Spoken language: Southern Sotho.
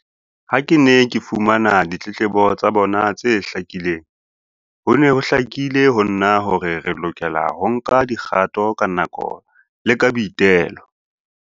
Ha ke ne ke fumana ditletlebo tsa bona tse hlakileng, ho ne ho hlakile ho nna hore re lokela ho nka dikgato ka nako le ka boitelo.